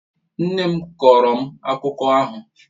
Nne m kọọrọ m akụkọ ahụ.